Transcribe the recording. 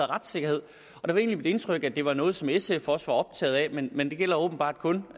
retssikkerhed og det var egentlig mit indtryk at det var noget som sf også var optaget af men det gælder åbenbart kun